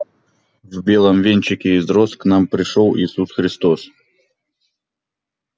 в белом венчике из роз к нам пришёл иисус христос